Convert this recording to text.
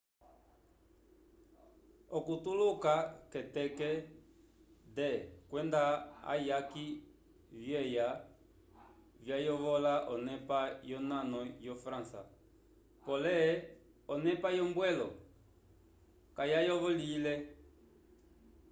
okutuluka k'eteke d kwenda ayaki vyeya vyayovola onepa yonano yo-frança pole onepa yombwelo kayayovolowile